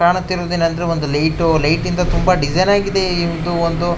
ಕಾಣುತ್ತಿರುವುದು ಏನೆಂದ್ರೆ ಒಂದು ಲೈಟ್ ಲೈಟ್ ಇಂದ ತುಂಬಾ ಡಿಸೈನ್ ಆಗಿದೆ ಎಂದು ಒಂದು--